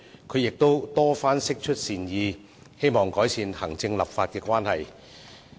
她亦多番釋出善意，希望改善行政立法關係。